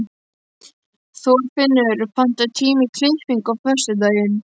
Þorfinnur, pantaðu tíma í klippingu á föstudaginn.